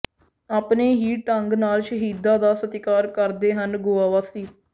ਆਪਣੇ ਹੀ ਢੰਗ ਨਾਲ ਸ਼ਹੀਦਾਂ ਦਾ ਸਤਿਕਾਰ ਕਰਦੇ ਹਨ ਗੋਆ ਵਾਸੀ